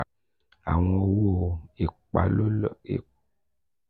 awọn owo ipalolo gẹgẹbi lotus halal atọka ko ni iṣowo ni itara.